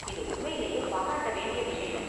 இது உண்மையிலேயே பாரராட்ட வேண்டிய விஷயம்.